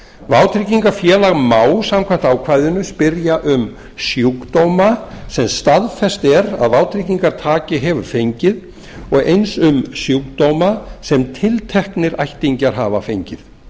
vátryggingafélag má samkvæmt ákvæðinu spyrja um sjúkdóma sem staðfest er að vátryggingartaki hefur fengið og eins um sjúkdóma sem tilteknir ættingjar hafa fengið